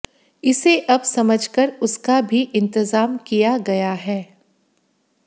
इसे अब समझकर उसका भी इंतजाम किया गया है